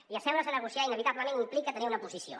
i asseure’s a negociar inevitablement im·plica tenir una posició